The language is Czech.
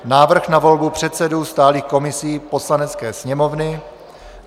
Návrh na volbu předsedů stálých komisí Poslanecké sněmovny;